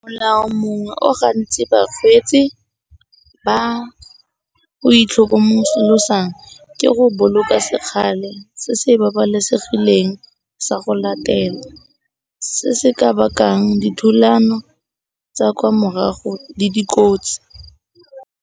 Molao mongwe o gantsi bakgweetsi ba o itlhokomolosang ke go boloka se kgale se se babalesegileng sa go latela se se ka bakang dithulano tsa kwa morago le dikotsi.